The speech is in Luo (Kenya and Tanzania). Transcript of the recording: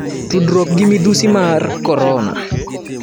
tudruok gi midhusi mar Korona.